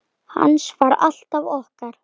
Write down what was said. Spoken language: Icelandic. Hans var alltaf okkar.